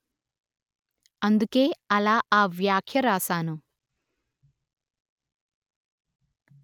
అందుకే అలా ఆ వ్యాఖ్య వ్రాశాను